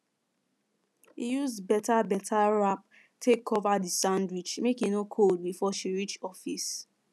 e use better better wrap take cover the sandwich make e no cold before she reach office